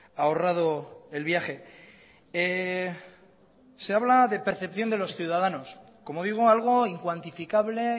ahorrado el viaje se habla de percepción de los ciudadanos como digo algo incuantificable